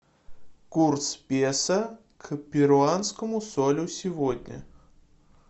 курс песо к перуанскому солю сегодня